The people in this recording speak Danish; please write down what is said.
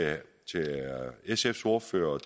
sfs ordfører og